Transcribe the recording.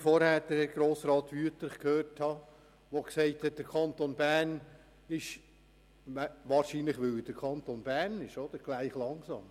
Es ist interessant, dass Grossrat Brönnimann sagt, der Kanton Bern sei – wohl weil es der Kanton Bern ist – langsam.